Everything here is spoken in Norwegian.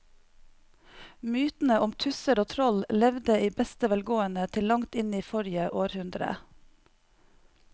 Mytene om tusser og troll levde i beste velgående til langt inn i forrige århundre.